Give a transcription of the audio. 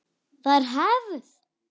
Það er hefð!